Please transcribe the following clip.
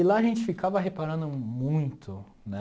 E lá a gente ficava reparando muito, né?